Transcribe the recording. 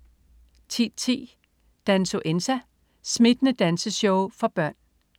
10.10 Dansuenza. Smittende danseshow for børn